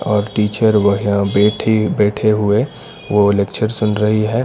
और टीचर वहां बैठे बैठे हुए वो लेक्चर सुन रही है।